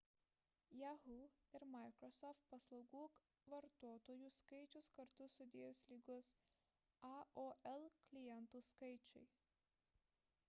yahoo ir microsoft paslaugų vartotojų skaičius kartu sudėjus lygus aol klientų skaičiui